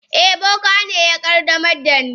Eh, boka ne ya qaddamar da ni.